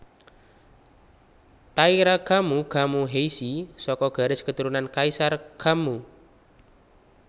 Taira Kammu Kammu Heishi saka garis keturunan Kaisar Kammu